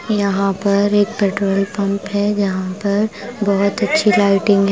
यहाँ पर एक पेट्रोल पंप है यहाँ पर बहुत अच्छी लाइटिंग है।